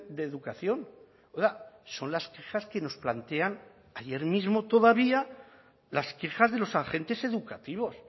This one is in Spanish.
de educación son las quejas que nos plantean ayer mismo todavía las quejas de los agentes educativos